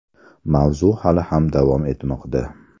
Mavzu hali ham davom etmoqda.